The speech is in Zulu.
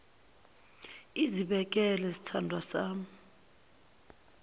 izibekele sithandwa sami